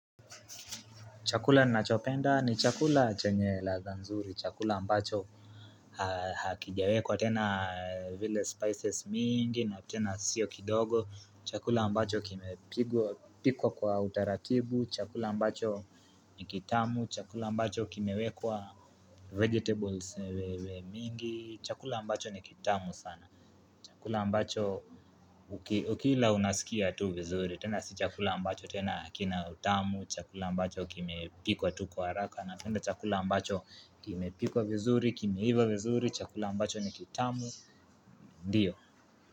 Chakula ninachopenda ni chakula chenye ladha nzuri, chakula ambacho hakijaekwa tena vile spices mingi na tena sio kidogo, chakula ambacho kimpikwa kwa utaratibu, chakula ambacho ni kitamu, chakula ambacho kimewekwa vegetables mingi, chakula ambacho ni kitamu sana. Chakula ambacho ukila unasikia tu vizuri, tena si chakula ambacho tena kina utamu, chakula ambacho kimepikwa tu kwa haraka, napenda chakula ambacho kimepikwa vizuri, kimeiva vizuri, chakula ambacho ni kitamu, ndiyo.